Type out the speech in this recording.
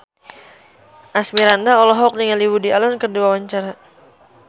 Asmirandah olohok ningali Woody Allen keur diwawancara